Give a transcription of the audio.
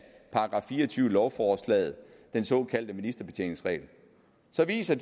§ fire og tyve i lovforslaget den såkaldte ministerbetjeningsregel så viser